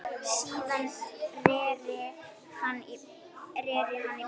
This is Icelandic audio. Síðan reri hann í burtu.